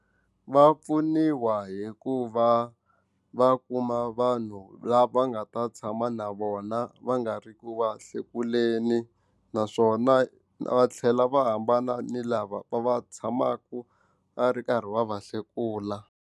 Va pfuniwa hi ku va va kuma vanhu lava nga ta tshama na vona va nga ri ku va hlekuleni naswona va tlhela va hambana ni lava va tshamaka va ri karhi va va hlekula.